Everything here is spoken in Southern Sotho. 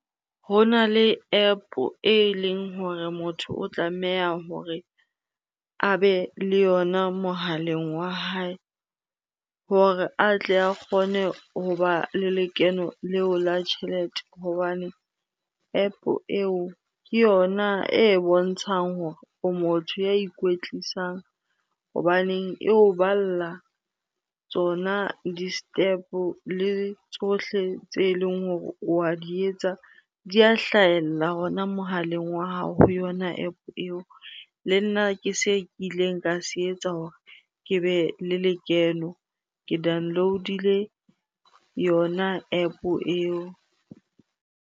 Ho na le App eleng hore motho o tlameha hore a be le yona mohaleng wa hae hore a tle a kgone hoba le lekeno leo la tjhelete. Hobane App eo ke yona e bontshang hore o motho ya ikwetlisang hobaneng eo balla tsona di-step-o le tsohle tse leng hore wa di etsa di a hlahella hona mohaleng wa hao ho yona App eo, le nna ke se kileng ka se etsa hore ke be le lekeno. Ke download-ile yona App eo.